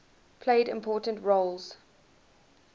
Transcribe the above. played important roles